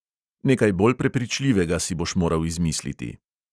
Nekaj bolj prepričljivega si boš moral izmisliti!